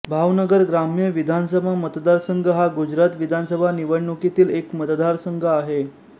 भावनगर ग्राम्य विधानसभा मतदारसंघ हा गुजरात विधानसभा निवडणुकीतील एक मतदारसंघ आहे